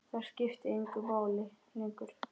Það skipti engu máli lengur.